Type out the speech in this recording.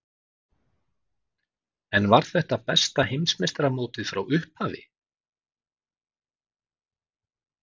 En var þetta besta Heimsmeistaramótið frá upphafi?